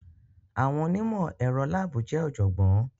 Àwọn onímọ̀ ẹ̀rọ láàbù jẹ́ ọ̀jọ̀gbọ́n.